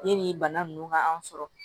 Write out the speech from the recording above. Yanni bana ninnu ka an sɔrɔ